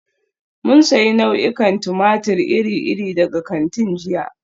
Mun sayi nau'ikan tumatir iri-iri daga kantin jiya.